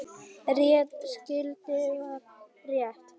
Rétt skyldi vera rétt.